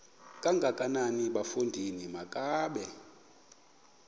kangakanana bafondini makabe